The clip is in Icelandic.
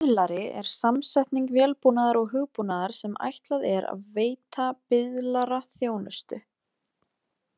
Miðlari er samsetning vélbúnaðar og hugbúnaðar sem ætlað er að veita biðlara þjónustu.